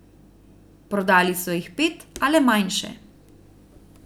Prodali so jih pet, a le manjše.